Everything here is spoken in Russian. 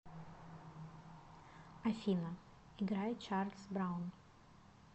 афина играй чарльз браун